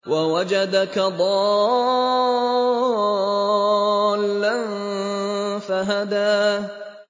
وَوَجَدَكَ ضَالًّا فَهَدَىٰ